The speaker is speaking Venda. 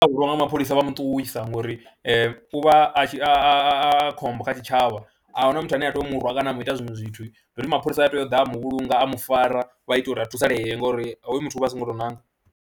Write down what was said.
U hwaliwa nga mapholisa vha mu ṱuwisa ngori u vha a tshi a a a khombo kha tshitshavha a hu na muthu ane a tea u mu rwa kana a mu ita zwiṅwe zwithu, ndi uri mapholisa a tea u ḓa a mu vhulunga, a mu fara vha ite uri a thusalee ngori hoyu muthu u vha a songo tou nanga.